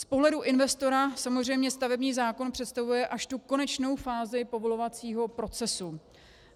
Z pohledu investora samozřejmě stavební zákon představuje až tu konečnou fázi povolovacího procesu.